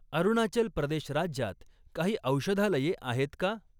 अरुणाचल प्रदेश राज्यात काही औषधालये आहेत का?